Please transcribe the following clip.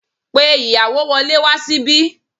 Pe ìyàwó wọlé wá síbí